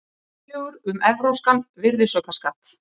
Tillögur um evrópskan virðisaukaskatt